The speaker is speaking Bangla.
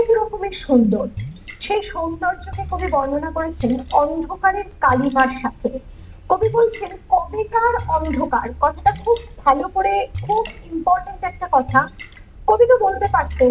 খুবই সুন্দর, সেই সৌন্দর্যকে কবি বর্ননা করছেন অন্ধকারের কালিমার সাথে । কবি বলেছেন কবেকার অন্ধকার কথাটা খুব ভালো করে খুব important একটা কথা ।কবিতা বলতে পারতেন